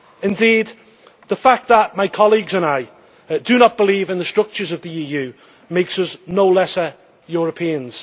Indeed, the fact that my colleagues and I do not believe in the structures of the EU does not make us lesser Europeans.